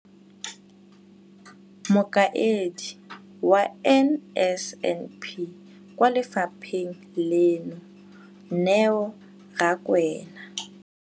Mokaedi wa NSNP kwa lefapheng leno, Neo Rakwena,